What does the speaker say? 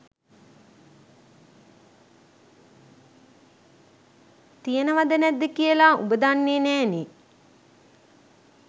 තියනවද නැද්ද කියලා උඹ දන්නෙ නෑනේ.